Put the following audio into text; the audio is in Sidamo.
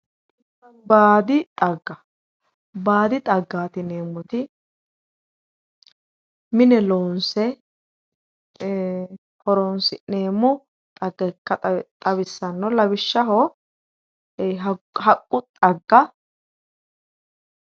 Baadi xagga, baadi xaggati yineemmoti mine loonse e"e horonsi'neemmo xagga ikka xawisano lawishshaho haqqu xagga